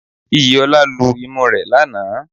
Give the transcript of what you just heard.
Iyìolá lu imú rẹ̀ lanàá